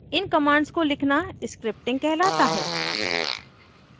इन commands को लिखना scripting कहलाता है